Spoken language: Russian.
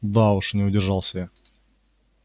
да уж не удержался я